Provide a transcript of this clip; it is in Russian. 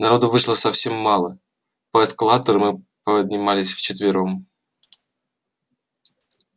народу вышло совсем мало по эскалатору мы поднимались вчетвером